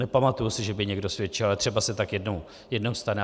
nepamatuji si, že by někdo svědčil, ale třeba se tak jednou stane.